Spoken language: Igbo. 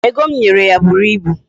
Ego m nyere ya buru ibu.